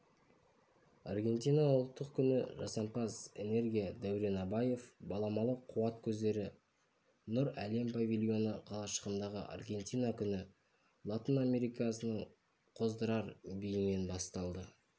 аргентина ұлттық күні жасампаз энергия дәурен абаев баламалы қуат көздері нұр әлем павильоны қалашығындағы аргентина күні латын америкасының қоздырар биімен басталды